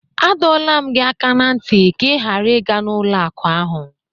A dọọla m gị aka na ntị ka ị ghara ịga n'ụlọ akụ ahụ!